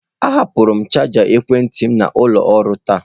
Ahapụrụ m chaja ekwentị m n'ụlọ ọrụ taa